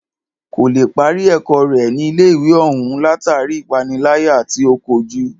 Kò lè parí ẹ̀kọ́ rẹ̀ ní ilé ìwé òún látàri ipániláyà tí o kojú.